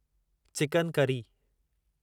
chicken curry